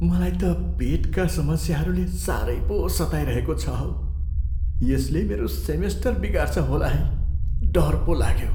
मलाई त पेटका समस्याहरूले साह्रै पो सताइरहेको छ हौ। यसले मेरो सेमेस्टर बिगार्छ होला है। डर पो लाग्यो।